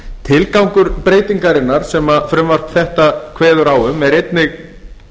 tilgangur breytingarinnar sem þetta frumvarp kveður á um er einnig